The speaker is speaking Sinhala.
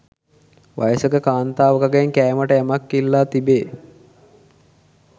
වයසක කාන්තාවකගෙන් කෑමට යමක් ඉල්ලා තිබේ.